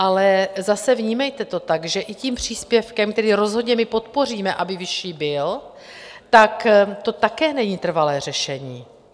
Ale zase, vnímejte to tak, že i tím příspěvkem, který rozhodně my podpoříme, aby vyšší byl, tak to také není trvalé řešení.